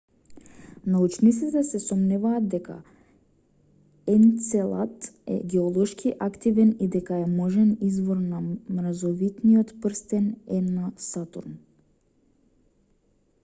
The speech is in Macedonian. научниците се сомневаат дека енцелад е геолошки активен и дека е можен извор на мразовитиот прстен е на сатурн